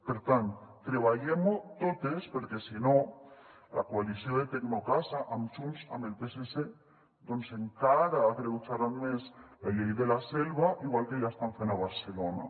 per tant treballem ho totes perquè si no la coalició de tecnocasa amb junts amb el psc doncs encara agreujarà més la llei de la selva igual que ja ho estan fent a barcelona